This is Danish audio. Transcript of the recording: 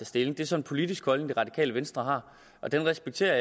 stilling det er så en politisk holdning det radikale venstre har og den respekterer